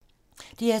DR2